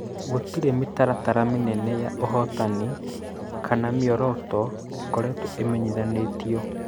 Gũtirĩ mĩtaratara mĩnene ya ũhotani kana mĩoroto ĩkoretwo ĩmenyithanĩtio